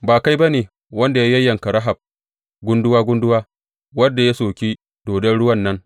Ba kai ba ne wanda ya yayyanka Rahab gunduwa gunduwa, wanda ya soki dodon ruwan nan?